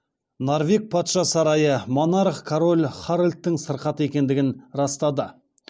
норвег патша сарайы монарх король харальдтың сырқат екендігін растады